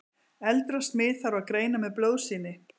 eldra smit þarf að greina með blóðsýni